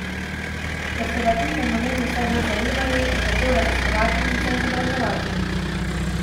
Ker so ga ti fenomeni vse bolj zanimali, je začel raziskovati in se izobraževati.